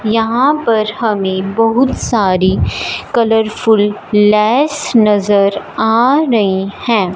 यहां पर हमें बहुत सारी कलरफुल लैस नजर आ रही है।